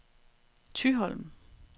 Thyholm